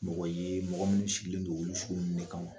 Mɔgɔ ye mɔgɔ minnu sigilen don o sugu ninnu ka ma